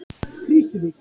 Krýsuvík